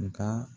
Nka